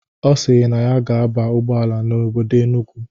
Ọ sịrị na ya ga-aba ụgbọala n'obodo Enugwu.